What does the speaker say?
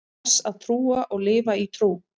þess að trúa og lifa í trú